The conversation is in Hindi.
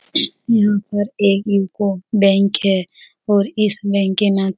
यहॉं पर एक यूको बैंक है और इस बैंक के ना --